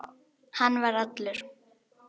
Hann var allur.